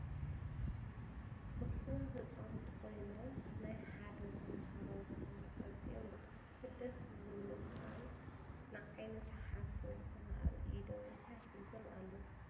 እኩባት ህፃውንቲ ኮይኑም ናይ ሓደ ተማህሮ ዝኮኑ ኣዝዮ ብጣዐሚ ደፈስ ዝብሉካን ንዓይኒ ስሓብትን ዝኮኑ ኣብ ኢዶም እንታይ ሒዞም ኣለው ?